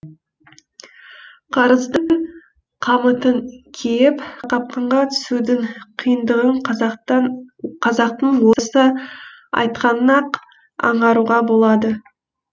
қарыздың қамытын киіп қақпанға түсудің қиындығын қазақтың осы айтқанынан ақ аңғаруға болады